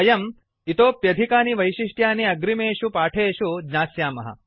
वयम् इतोऽप्यधिकानि वैशिष्ट्यानि अग्रिमेषु पाठेषु ज्ञास्यामः